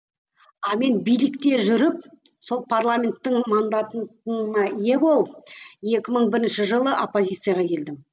а мен билікте жүріп сол парламенттің мандатына ие болып екі мың бірінші жылы оппозицияға келдім